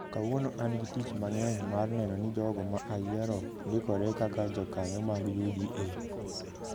Kawuono an gi tich mang’eny mar neno ni jogo ma ayiero ndikore kaka jokanyo mag UDA